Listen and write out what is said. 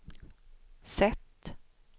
sätt